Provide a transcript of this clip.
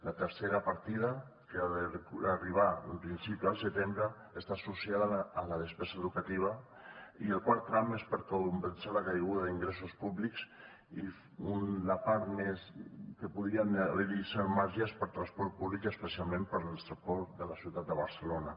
la tercera partida que ha d’arribar en principi al setembre està associada a la despesa educativa i el quart tram és per compensar la caiguda d’ingressos públics i la part en què podria haver hi un cert marge és per a transport públic i especialment per als transports de la ciutat de barcelona